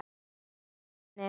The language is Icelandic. Þýskum manni.